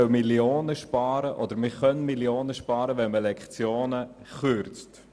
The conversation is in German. Ich höre, man könne Millionen sparen, wenn man Lektionen kürze.